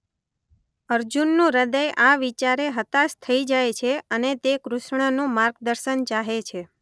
અર્જુનનું હદય આ વિચારે હતાશ થઈ જાય છે અને તે કૃષ્ણનું માર્ગદર્શન ચાહે છે.